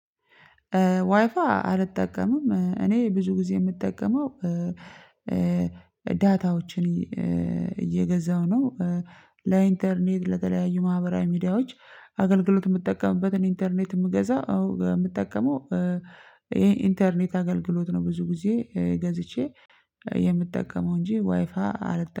ዋይፋይ አልጠቀምም እኔ ብዙ ጊዜ የምጠቀመው ዳታዎችን እየገዛው ነው። ለኢንተርኔት ለተለያዩ ማህበራዊ ሚዲያዎች አገልግሎት የምጠቀምበትን ኢንተርኔት የምገዛ። አዎ የምጠቀመው ይሄ ኢንተርኔት አገልግሎት ነው። ብዙ ጊዜ ገዝቼ የምጠቀመው እንጂ ዋይፋ አልጠቀምኩም